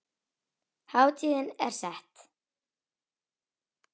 Hátíðin er sett.